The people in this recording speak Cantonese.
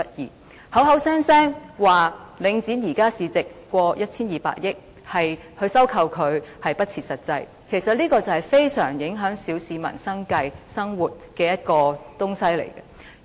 他們口口聲聲說領展現時市值超過 1,200 億元，進行回購不切實際，但這是非常影響小市民生計的東西。